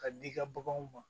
Ka di i ka baganw ma